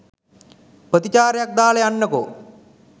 ප්‍රතිචාරයක් දාලා යන්නකෝ.